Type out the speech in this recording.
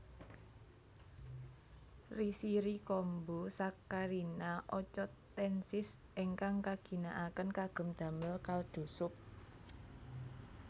Rishiri kombu Saccharina ochotensis ingkang kaginakaken kagem damel kaldu sup